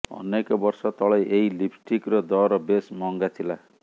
ଅନେକ ବର୍ଷ ତଳେ ଏଇ ଲିିପଷ୍ଟିକ୍ର ଦର ବେଶ୍ ମହଙ୍ଗା ଥିଲା